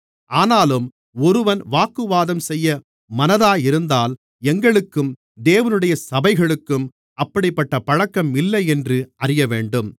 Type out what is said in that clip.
ஆனாலும் ஒருவன் வாக்குவாதம்செய்ய மனதாயிருந்தால் எங்களுக்கும் தேவனுடைய சபைகளுக்கும் அப்படிப்பட்டப் பழக்கம் இல்லையென்று அறியவேண்டும்